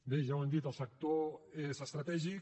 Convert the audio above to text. bé ja ho hem dit el sector és estratègic